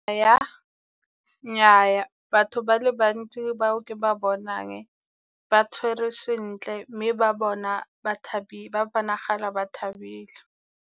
Nnyaa batho ba le bantsi ba o ke ba bonang ba tshwerwe sentle, mme ba bonagala ba thabile.